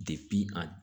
a